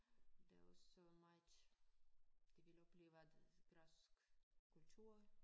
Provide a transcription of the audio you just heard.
Der også meget de vil opleve det græsk kultur